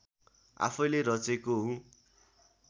आफैँले रचेको हुँ